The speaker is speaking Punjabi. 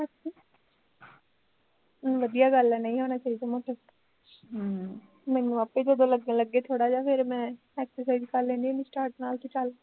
ਵਧੀਆ ਗੱਲ ਐ ਨਹੀਂ ਹੋਣੇ ਚਾਹੀਦਾ ਮੋਟੇ ਹਮ ਮੈਨੂੰ ਆਪੇ ਜਦੋਂ ਲੱਗੇ ਲੱਗਣ ਥੋੜਾ ਜਿਹਾ ਫੇਰ ਮੈਂ exercise ਕਰ ਲੈਂਦੀ ਹੁੰਦੀ start ਨਾਲ਼ ਕੀ ਚੱਲ